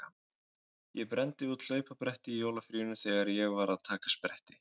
Ég brenndi út hlaupabretti í jólafríinu þegar ég var að taka spretti.